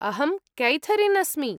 अहं कैथरीन् अस्मि।